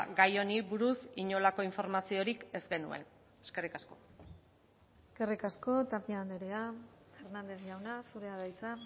gai honi buruz inolako informaziorik ez genuen eskerrik asko eskerrik asko tapia andrea hernández jauna zurea da hitza